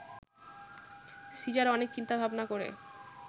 caesar অনেক চিন্তা-ভাবনা করে